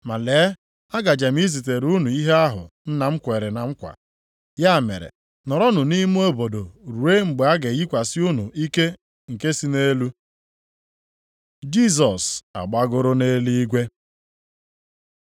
Ma lee, agaje m izitere unu ihe ahụ Nna m kwere na nkwa. Ya mere, nọrọnụ nʼime obodo ruo mgbe a ga-eyikwasị unu ike nke si nʼelu.” Jisọs agbagoro nʼeluigwe